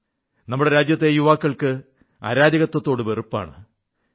നമ്മുടെ രാജ്യത്തെ യുവാക്കൾക്ക് അരാജകത്വത്തോട് വെറുപ്പാണ്്